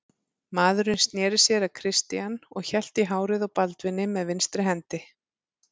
Maðurinn sneri sér að Christian og hélt í hárið á Baldvini með vinstri hendi.